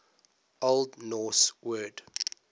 old norse word